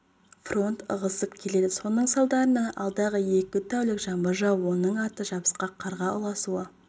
фронт ығысып келеді соның салдарынан алдағы екі тәулік жаңбыр жауып оның арты жабысқақ қарға ұласуы